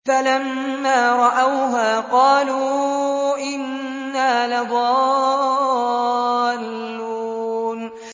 فَلَمَّا رَأَوْهَا قَالُوا إِنَّا لَضَالُّونَ